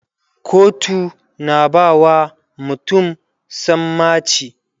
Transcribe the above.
kotu na bawa mutum sammaci